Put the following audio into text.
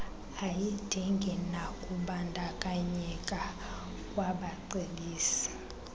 ayidingi nakubandakanyeka kwabacebisi